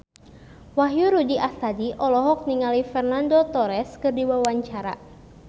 Wahyu Rudi Astadi olohok ningali Fernando Torres keur diwawancara